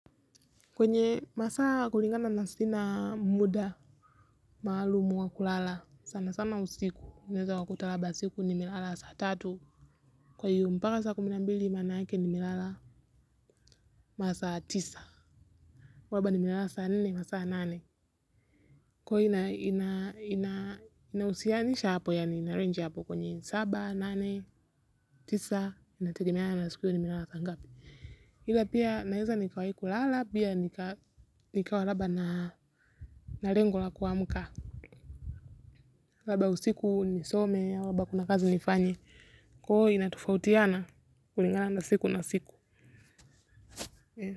Kwenye masaa kulingana na sina muda maalumu wa kulala sana sana usiku unaweza ukakuta labda usiku nimelala saa tatu kwa hiyo mpaka saa kumi na mbili manake nimelala masaa tisa kwa hiyo labda nimelala saa nne na saa nane kwa hiyo ina husianisha hapo yaani ina range hapo kwenye saba nane tisa inategemea na usiku nimelala saa ngapi ila pia naweza nikawahi kulala pia nikawa labda na lengo la kuamka labda usiku nisome, au kama kuna kazi nifanye, kwa hiyo inatofautiana kulingana na siku na siku.